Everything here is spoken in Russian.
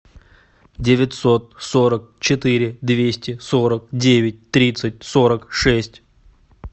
девятьсот сорок четыре двести сорок девять тридцать сорок шесть